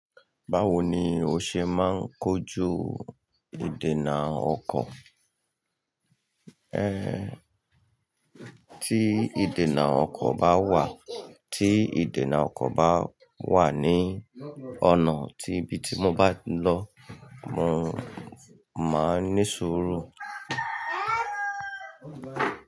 Báwo ni o ṣe máa ń kojú ìdènà ọkọ̀? Ehn, tí ìdènà ọkọ̀ bá wà, tí ìdènà ọkọ̀ bá wà ní ọ̀nà tí ibi tí mo bá ń lọ, mo máa ní sùúrù.